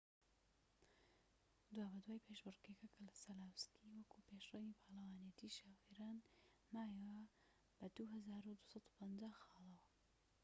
دوابەدوای پێشبڕكێکە، کەسەلاوسکی وەکو پێشرەوی پاڵەوانێتی شۆفێران مایەوە بە ٢،٢٥٠ خاڵەوە